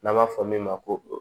N'an b'a fɔ min ma ko